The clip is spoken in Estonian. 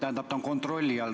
See on kontrolli all.